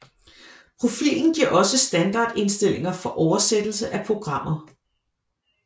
Profilen giver også standardinstillinger for oversættelse af programmer